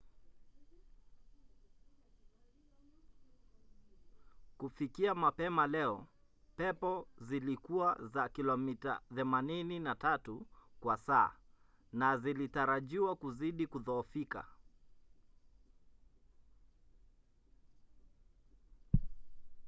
kufikia mapema leo pepo zilikuwa za kilomita 83 kwa saa na zilitarajiwa kuzidi kudhoofika